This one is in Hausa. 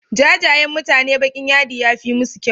Jajayen mutane baƙin yadi yafi musu kyau.